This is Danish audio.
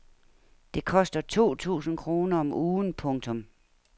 Det koster to tusind kroner om ugen. punktum